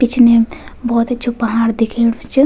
पिछने भौत अच्छु पहाड़ दिखेणू च।